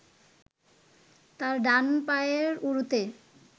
তার ডান পায়ের উরুতে